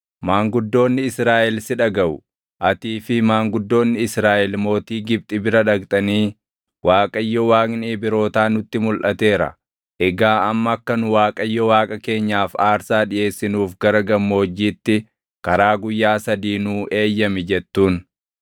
“Maanguddoonni Israaʼel si dhagaʼu. Atii fi maanguddoonni Israaʼel mootii Gibxi bira dhaqxanii, ‘ Waaqayyo Waaqni Ibrootaa nutti mulʼateera; egaa amma akka nu Waaqayyo Waaqa keenyaaf aarsaa dhiʼeessinuuf gara gammoojjiitti karaa guyyaa sadii nuu eeyyami’ jettuun.